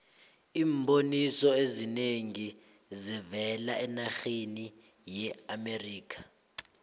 iimboniso ezinengi zivela enarheni yeamerikha